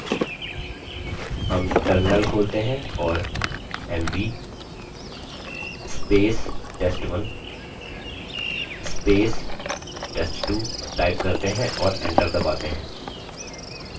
हम terminal खोलते हैं और $mv test1 test2 type करते हैं और enter दबाते हैं